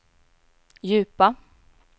djupa